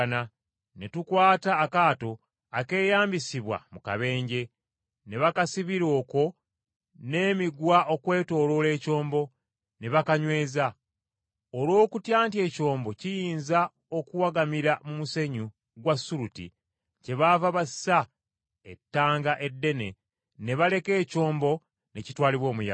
ne tukwata akaato akeeyambisibwa mu kabenje, ne bakasibira okwo n’emiguwa okwetooloola ekyombo, ne bakanyweza. Olw’okutya nti ekyombo kiyinza okuwagamira mu musenyu gwa Suluti, kyebaava bassa ettanga eddene ne baleka ekyombo ne kitwalibwa omuyaga.